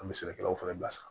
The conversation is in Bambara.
An bɛ sɛnɛkɛlaw fana bilasira